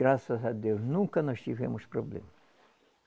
Graças a Deus, nunca nós tivemos problema.